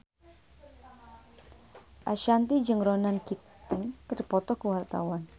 Ashanti jeung Ronan Keating keur dipoto ku wartawan